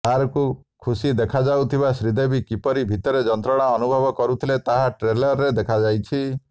ବାହାରକୁ ଖୁସି ଦେଖାଯାଉଥିବା ଶ୍ରୀଦେବୀ କିପରି ଭିତରେ ଯନ୍ତ୍ରଣା ଅନୁଭବ କରୁଥିଲେ ତାହା ଟ୍ରେଲରରେ ଦେଖାଯାଇଛି